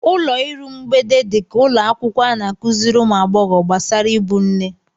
Ụlọ iru mgbede dị ka ụlọ akwụkwọ a na-akụziri ụmụ agbọghọ gbasara ịbụ nne.